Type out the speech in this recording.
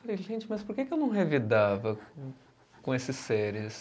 Falei, gente, mas por que que eu não revidava com esses seres?